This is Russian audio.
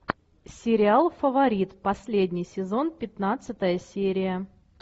сериал фаворит последний сезон пятнадцатая серия